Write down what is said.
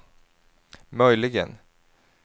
möjligen